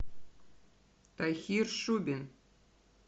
тахир шубин